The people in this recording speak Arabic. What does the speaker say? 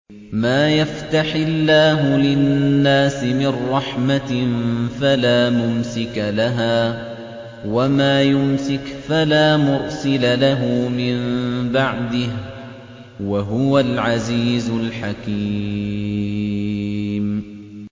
مَّا يَفْتَحِ اللَّهُ لِلنَّاسِ مِن رَّحْمَةٍ فَلَا مُمْسِكَ لَهَا ۖ وَمَا يُمْسِكْ فَلَا مُرْسِلَ لَهُ مِن بَعْدِهِ ۚ وَهُوَ الْعَزِيزُ الْحَكِيمُ